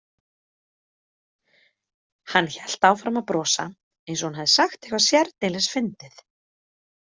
Hann hélt áfram að brosa, eins og hún hefði sagt eitthvað sérdeilis fyndið.